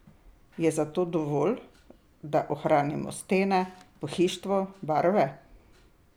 Je za to dovolj, da ohranimo stene, pohištvo, barve?